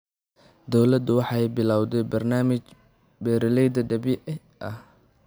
Dawladdu waxay bilawday barnaamij beeralayda dabiiciga ah.